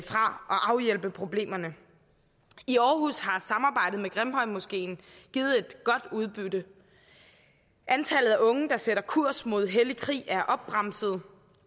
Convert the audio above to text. afhjælpe problemerne i aarhus har samarbejdet med grimhøjmoskeen givet et godt udbytte antallet af unge der sætter kurs mod hellig krig er bremset